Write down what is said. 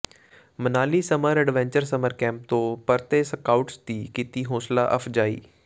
Manali summer adventure summer camp ਤੋਂ ਪਰਤੇ scouts ਦੀ ਕੀਤੀ ਹੌਸਲਾ ਅਫ਼ਜਾਈ